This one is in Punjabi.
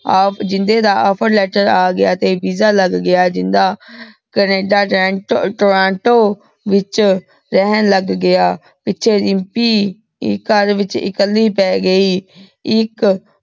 ਜਿੰਦੇ ਦਾ offer letter ਆਗਯਾ ਤੇ visa ਲਾਗ ਗਯਾ ਜਿੰਦਾ ਕੈਨੇਡਾ ਰਹਨ ਟਾਰਾਂਟੋ ਵਿਚ ਰੇਹਾਨ ਲਾਗ ਗਯਾ ਤੇ ਦਿਮ੍ਪੀ ਘਰ ਵਿਚ ਇਕਲੀ ਪੀ ਗਈ ਏਇਕ